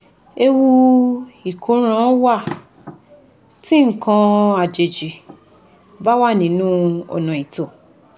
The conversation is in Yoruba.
Ewu ìkóràn wà tí nǹkan àjèjì bá wà nínú ọ̀nà ìtọ̀